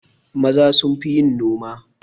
Maza sunfi yin noma